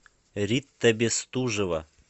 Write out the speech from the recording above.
рита бестужева